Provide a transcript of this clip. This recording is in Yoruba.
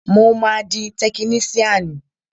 Mo máa di tekiníṣíànì